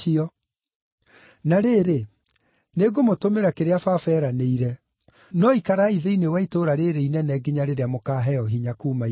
Na rĩrĩ, nĩngũmũtũmĩra kĩrĩa Baba eranĩire; no ikarai thĩinĩ wa itũũra rĩĩrĩ inene nginya rĩrĩa mũkaaheo hinya kuuma Igũrũ.”